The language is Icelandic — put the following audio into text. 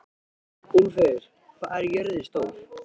Úlfheiður, hvað er jörðin stór?